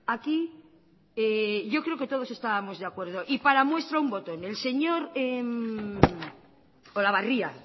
aquí yo creo que todos estábamos de acuerdo y para muestra un botón el señor olabarria